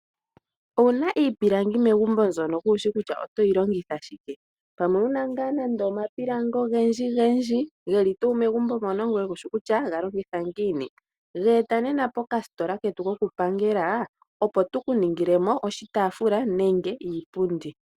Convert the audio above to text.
Ouna iipilangi megumbo mbyono kushi kusha otoyi longitha shike pamwe ouna ngaa nande omapilangi ogendjigendji geli tuu megumbo mpono ngoye kushi kutya galongitha ngiini geeta nena pokasitola ketu kokupangela opo tukuningilemo oshitaafula nenge iipundi.